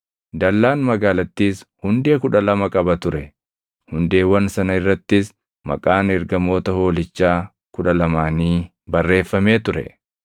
Dallaan magaalattiis hundee kudha lama qaba ture; hundeewwan sana irrattis maqaan ergamoota Hoolichaa kudha lamaanii barreeffamee ture.